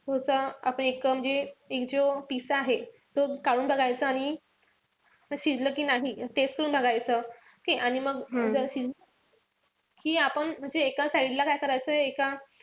पुढचा आपण म्हणजे जो piece आहे तो काढून बघायचा आणि शिजलं कि नाही taste करून बघायचं. ठीकेय? आणि मग जर शिजलं कि आपण म्हणजे एका side ला काय करायचं. एका,